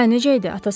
Hə, necə idi?